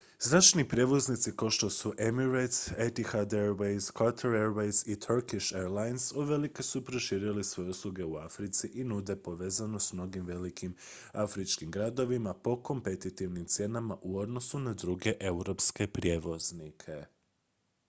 zračni prijevoznici kao što su emirates etihad airways qatar airways i turkish airlines uvelike su proširili svoje usluge u africi i nude povezanost s mnogim velikim afričkim gradovima po kompetitivnim cijenama u odnosu na druge europske prijevoznike